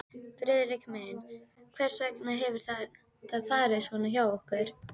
Friðrik minn, hvers vegna hefur þetta farið svona hjá okkur?